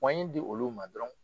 pɔnɲi di olu ma dɔrɔn